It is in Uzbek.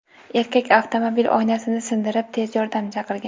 Erkak avtomobil oynasini sindirib, tez yordam chaqirgan.